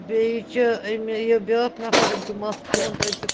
.بیٚیہِ چُھ أمہِ یہِ بیٛاکھ نفر أمِس چُھ مس کرٛہُن تہٕ أمِس چُھ